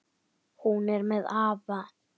Hún er með afa.